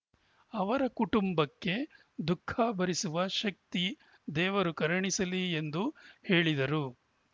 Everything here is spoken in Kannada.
ಅವರ ಕುಟುಂಬಕ್ಕೆ ದುಃಖ ಭರಿಸುವ ಶಕ್ತಿ ದೇವರು ಕರುಣಿಸಲಿ ಎಂದು ಹೇಳಿದರು